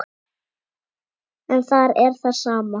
En þar er það sama.